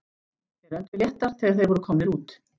Þeir önduðu léttar þegar þeir voru komnir út.